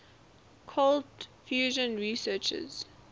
cold fusion researchers